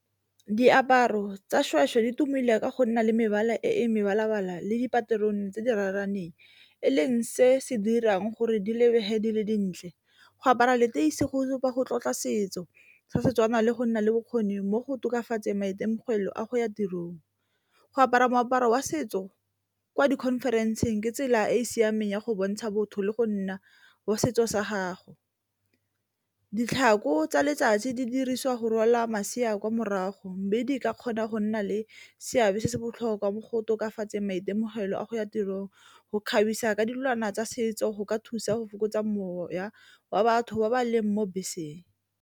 Diaparo tsa di tumile ka go nna le mebala e mebala-bala le dipaterone tse di raraneng, e leng se se dirang gore di lebege di le dintle. Go apara leteisi go supa go tlotla setso sa Setswana le go nna le bokgoni mo go tokafatseng maitemogelo a go ya tirong. Go apara moaparo wa setso kwa di-conference-ng ke tsela e e siameng ya go bontsha botho le go nna wa setso sa gago. Ditlhako tsa letsatsi di dirisiwa go rwala masea kwa morago, mme di ka kgona go nna le seabe se se botlhokwa mo go tokafatseng maitemogelo a go ya tirong, go kgabisa ka dilwana tsa setso go ka thusa go fokotsa moya wa batho ba ba leng mo beseng.